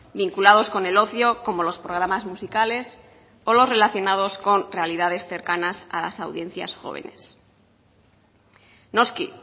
vinculados con el ocio como los programas musicales o los relacionados con realidades cercanas a las audiencias jóvenes noski